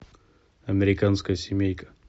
американская семейка